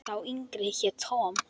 Sá yngri hét Tom.